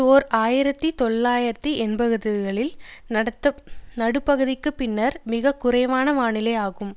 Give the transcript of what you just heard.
ஓர் ஆயிரத்தி தொள்ளாயிரத்து எண்பதுகளில் நடுப்பகுதிக்கு பின்னர் மிக குறைவான வானிலை ஆகும்